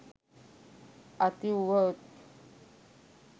අති උවහොත්